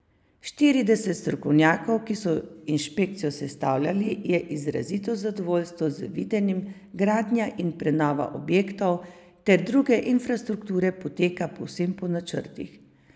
Štirideset strokovnjakov, ki so inšpekcijo sestavljali, je izrazilo zadovoljstvo z videnim, gradnja in prenova objektov ter druge infrastrukture poteka povsem po načrtih.